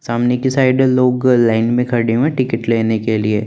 सामने की साइड लोग लाइन में खड़े है टिकट लेने के लिए।